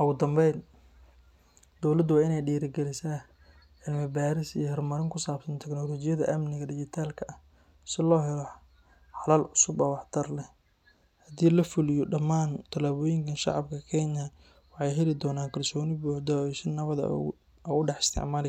Ugu dambeyn, dowladda waa inay dhiirrigelisaa cilmi-baaris iyo horumarin ku saabsan teknoolajiyadda amniga dhijitaalka ah si loo helo xalal cusub oo waxtar leh. Haddii la fuliyo dhammaan tallaabooyinkan, shacabka Kenya waxay heli doonaan kalsooni buuxda oo ay si nabad ah ugu dhex isticmaali karaan.